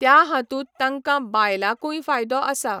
त्या हातूंत तांकां बायलांकूय फायदो आसा.